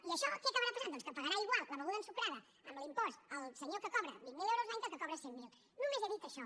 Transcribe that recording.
i això què acabarà passant doncs que pagarà igual la beguda ensucrada amb l’impost el senyor que cobra vint mil euros l’any que el que en cobra cent mil només he dit això